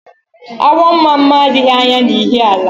Awọ Mmamma adịghị anya na Ihiala